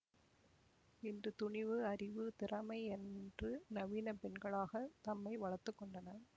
இன்று துணிவு அறிவு திறமை என்று நவீன பெண்களாகத் தம்மை வளர்த்துக்கொண்டனர்